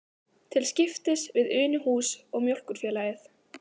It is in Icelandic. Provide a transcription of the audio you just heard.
Til skiptis við Unuhús og Mjólkurfélagið.